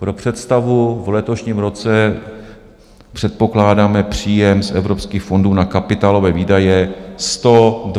Pro představu, v letošním roce předpokládáme příjem z evropských fondů na kapitálové výdaje 126 miliard.